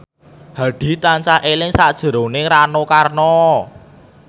Hadi tansah eling sakjroning Rano Karno